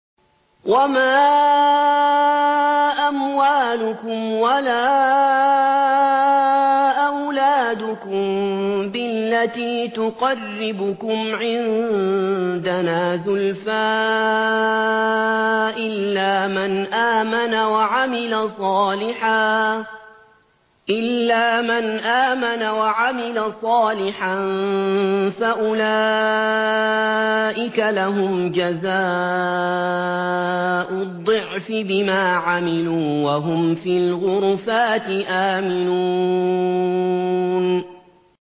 وَمَا أَمْوَالُكُمْ وَلَا أَوْلَادُكُم بِالَّتِي تُقَرِّبُكُمْ عِندَنَا زُلْفَىٰ إِلَّا مَنْ آمَنَ وَعَمِلَ صَالِحًا فَأُولَٰئِكَ لَهُمْ جَزَاءُ الضِّعْفِ بِمَا عَمِلُوا وَهُمْ فِي الْغُرُفَاتِ آمِنُونَ